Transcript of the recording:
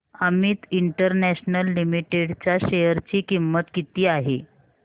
Amit international limited च्या share ची किंमत किती आहे